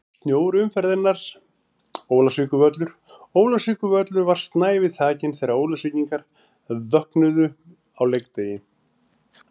Snjór umferðarinnar: Ólafsvíkurvöllur Ólafsvíkurvöllur var snævi þakinn þegar Ólafsvíkingar vöknuðu á leikdegi.